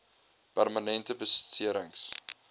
permanente besering s